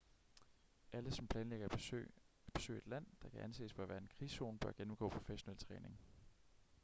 alle som planlægger at besøge et land der kan anses for at være en krigszone bør gennemgå professionel træning